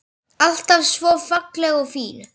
Alltaf svo falleg og fín.